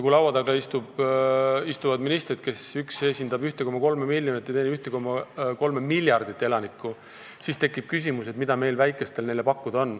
Kui laua taga istuvad ministrid, kellest üks esindab 1,3 miljonit ja teine 1,3 miljardit elanikku, siis tekib küsimus, mida meil, väikestel, neile pakkuda on.